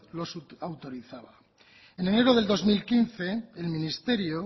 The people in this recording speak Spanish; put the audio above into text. los autorizaba en enero del dos mil quince el ministerio